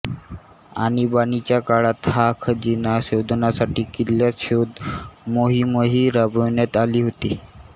आणिबाणीच्या काळात हा खजिना शोधण्यासाठी किल्ल्यात शोध मोहीमही राबविण्यात आली होती